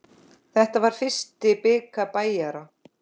Þetta var fyrsti bikar Bæjara.